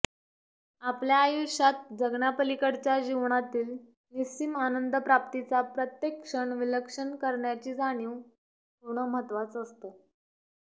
आपल्या आयुष्यात जगण्यापलीकडच्या जीवनातील निस्सीम आनंद प्राप्तीचा प्रत्येक क्षण विलक्षण करण्याची जाणीव होणं महत्त्वाचं असतं